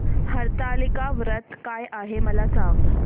हरतालिका व्रत काय आहे मला सांग